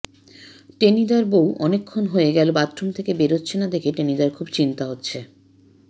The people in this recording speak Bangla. টেনিদার বউ অনেকক্ষণ হয়ে গেল বাথরুম থেকে বেরোচ্ছে না দেখে টেনিদার খুব চিন্তা হচ্ছে